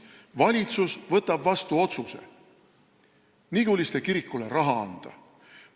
Valitsus võtab vastu otsuse Niguliste kirikule raha anda.